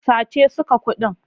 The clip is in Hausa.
Sace suka kuɗin.